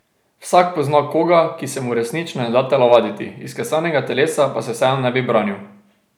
Vsak pozna koga, ki se mu resnično ne da telovaditi, izklesanega telesa pa se vseeno ne bi branil.